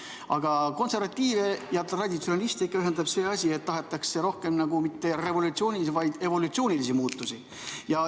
Aga konservatiive ja traditsioonilisi inimesi ühendab ikka see, et tahetakse rohkem mitte revolutsioonilisi, vaid evolutsioonilisi muutusi.